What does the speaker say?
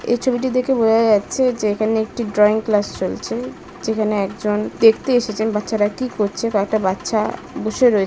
এ ছবিটি দেখে বোঝা যাচ্ছে যে এখানে একটি ড্রয়িং ক্লাস চলছে যেখানে একজন দেখতে এসেছেন বাচ্চারা কি করছে কয়েকটা বাচ্চা-আ- বুসে রয়েছে।